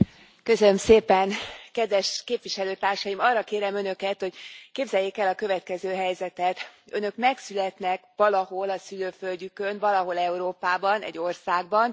Elnök Asszony, kedves képviselőtársaim, arra kérem Önöket, hogy képzeljék el a következő helyzetet Önök megszületnek valahol a szülőföldjükön, valahol Európában, egy országban.